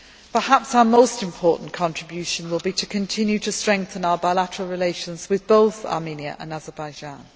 Perhaps our most important contribution will be to continue to strengthen our bilateral relations with both Armenia and Azerbaijan.